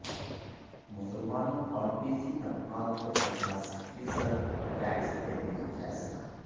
مسلمانوں اور B C طبقات کو پچاس فیصد ٹکٹس دینے کا فیصلہ